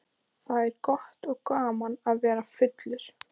Það er gott og gaman að vera fullur.